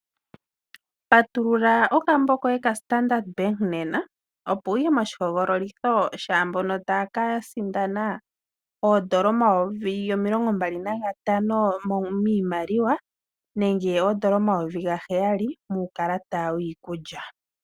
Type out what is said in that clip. Patulula okambo koye kaStandard Bank nena opo wuye omoshihogololitho shaambono taakasindana oondola omayovi omilongo mbali nagatano miimaliwa nenge nenge oondola omayovi gaheyali muukalata wiikulya.